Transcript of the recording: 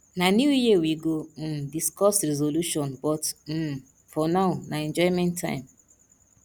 na new year we go um discuss resolution but um for now na enjoyment time